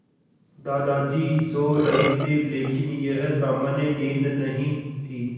दादाजी सो रहे थे लेकिन यह सामान्य नींद नहीं थी